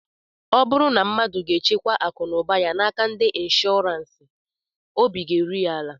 Ọ bụrụ na mmadu ga-echekwa akụ na ụba ya n'aka ndị nshọọransị, obi ga-eru ya ala